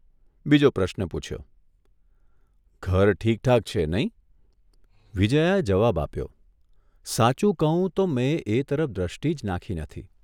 બીજો પ્રશ્ન પૂછ્યોઃ ઘર ઠીકઠાક છે નહીં?" વિજ્યાએ જવાબ આપ્યો 'સાચું કહું તો મેં એ તરફ દ્રષ્ટિ જ નાંખી નથી.